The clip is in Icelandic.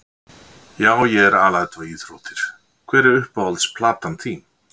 Já ég er alæta á íþróttir Hver er uppáhalds platan þín?